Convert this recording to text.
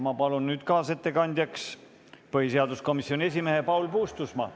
Ma palun kaasettekandjaks põhiseaduskomisjoni esimehe Paul Puustusmaa.